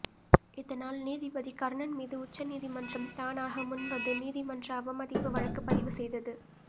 இதனால் நீதிபதி கர்ணன் மீது உச்சநீதிமன்றம் தானாக முன்வந்து நீதிமன்ற அவமதிப்பு வழக்குப் பதிவு செய்தது